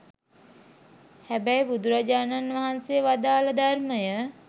හැබැයි බුදුරජාණන් වහන්සේ වදාළ ධර්මය